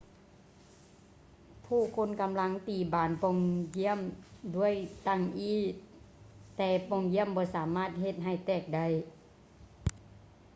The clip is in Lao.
ຜູ້ຄົນກຳລັງຕີບານປ່ອງຢ້ຽມດ້ວຍຕັ່ງອີ້ແຕ່ປ່ອງຢ້ຽມບໍ່ສາມາດເຮັດໃຫ້ແຕກໄດ້